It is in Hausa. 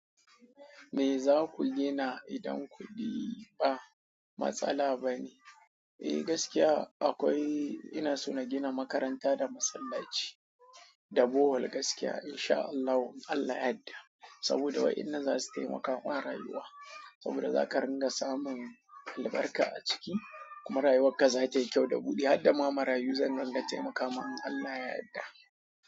Me za ku gina idan kuɗi ba matsala bane? Eh gaskiya akwai inaso na gina makaranta da masallachi da Bohol gaskiya in sha Allah Allah ya yadda saboda wa ina za su taimaka wa rayuwa saboda za ka ringa samun albarka a ciki kuma rayuwar ka za tayi kyau da buɗi har da ma marayu zan ranna taimaka ma inAllah ya yadda.